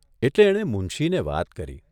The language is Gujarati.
એટલે એણે મુનશીને વાત કરી.